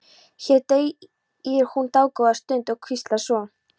Hér þegir hún dágóða stund og hvíslar svo